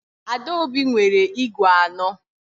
Adaobi nwere ígwè anọ.